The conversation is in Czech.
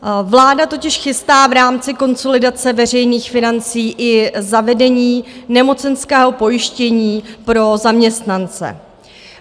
Vláda totiž chystá v rámci konsolidace veřejných financí i zavedení nemocenského pojištění pro zaměstnance.